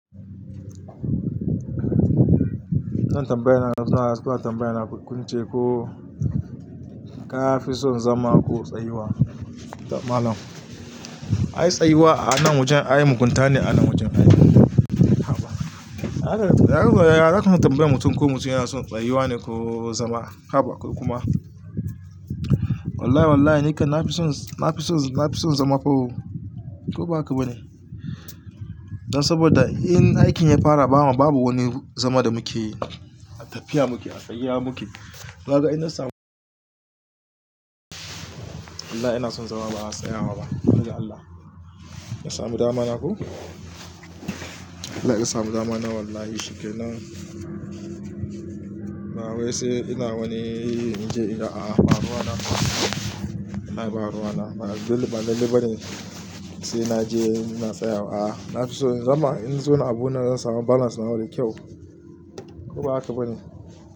Wannan tambayar na so in amsa. Wannan tambayar na ƙunche ko ka fi son zama ko tsayuwa? Malam, ai tsayuwa a nan wajen, ai muhimmanta ne a nan wajen aiki. Haba. Yanzu yaya zaka tambaye mutum ko mutum yana son tsayuwa ne ko zama? Haba. Kuma wallahi wallahi ni ka na fi son, na fi son, na fi son zama fa ko ba haka ba ne? Dan saboda in aikin ya fara bama, babu wani zama da muke tafiya muke, a tsaya muke. Naga ina son, wallahi ins san zama va tsayawa ba Dan Allah. Ina son damana ko? Like ina son damana wallahi shikenana. Na wai sai ina wani in je in ga a, baruwa na. Wallahi ba baruwa na. Ba lallai bane sai maje ina tsayawa nafiso in zauna abuna bana sawa da kyau ko ba haka bane?